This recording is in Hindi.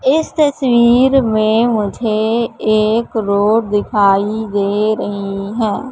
इस तस्वीर में मुझे एक रोड दिखाई दे रही है।